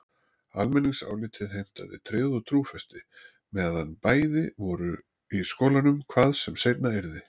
Almenningsálitið heimtaði tryggð og trúfesti meðan bæði væru í skólanum, hvað sem seinna yrði.